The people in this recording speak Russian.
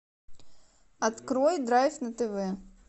открой драйв на тв